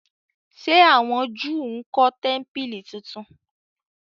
Se àwọn júù nkó tẹmpili títún?